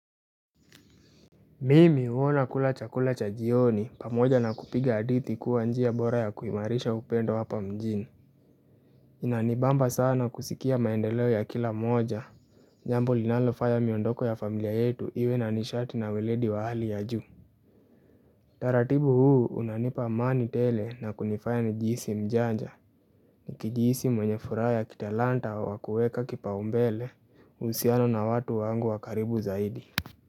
Mimi huwa nakula chakula cha jioni pamoja na kupiga hadithi kuwa njia bora ya kuimarisha upendo hapa mjini Inanibamba sana kusikia maendeleo ya kila mmoja jambo linalofaya miondoko ya familia yetu iwe na nishati na weledi wa hali ya juu utaratibu huu unanipa amani tele na kunifaya nijihisi mjanja nikijihisi mwenye furaha ya kitalanta wa kueka kipaumbele uhusiano na watu wangu wa karibu zaidi.